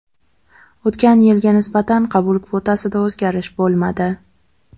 O‘tgan yilga nisbatan qabul kvotasida o‘zgarish bo‘lmadi.